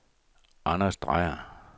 Anders Dreyer